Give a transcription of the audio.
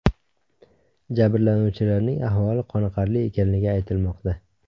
Jabrlanuvchilarning ahvoli qoniqarli ekanligi aytilmoqda.